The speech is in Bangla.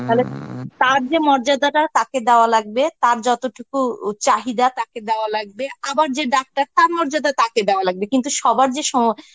তালে তার যে মর্যাদা টা তাকে দেওয়া লাগবে, তার যতটুকু উ চাহিদা তাকে দেওয়া লাগবে, আবার যে ডাক্তার তার মর্যাদা তাকে দেওয়া লাগবে কিন্তু সবার যে স~